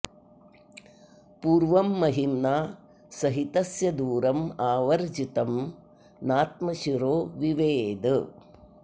पूर्वं महिम्ना स हि तस्य दूरमावर्जितं नात्मशिरो विवेद